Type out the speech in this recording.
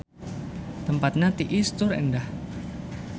Tempatna tiis tur endah.